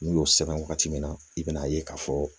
N'u y'o sɛbɛn waati min na i bɛna'a ye k'a fɔ